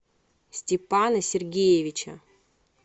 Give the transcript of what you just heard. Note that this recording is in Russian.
степана сергеевича